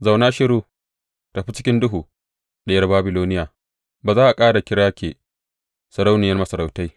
Zauna shiru, tafi cikin duhu, Diyar Babiloniya; ba za a ƙara kira ke sarauniyar masarautai.